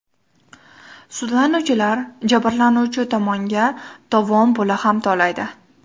Sudlanuvchilar jabrlanuvchi tomonga tovon puli ham to‘laydi.